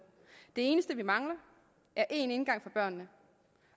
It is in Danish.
det eneste vi mangler er én indgang for børnene